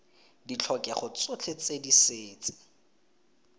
ditlhokego tsotlhe tse di setse